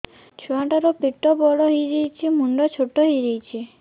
ଛୁଆ ଟା ର ପେଟ ବଡ ହେଇଯାଉଛି ମୁଣ୍ଡ ଛୋଟ ହେଇଯାଉଛି